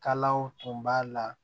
Kalaw tun b'a la